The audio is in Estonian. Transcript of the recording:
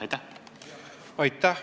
Aitäh!